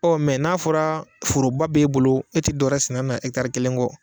Ɔ mɛ n'a fɔra foroba b'e bolo e te dɔwɛrɛ sɛn'a na ɛtari kelen kɔ